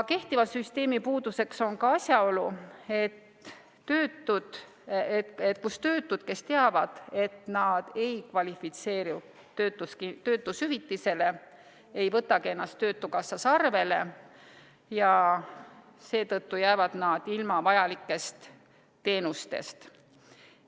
Kehtiva süsteemi puuduseks on asjaolu, et töötud, kes teavad, et nad ei kvalifitseeru töötushüvitisele, ei võtagi ennast töötukassas arvele ja seetõttu jäävad nad ilma vajalikest teenustest.